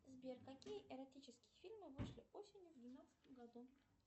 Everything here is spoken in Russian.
сбер какие эротические фильмы вышли осенью в двенадцатом году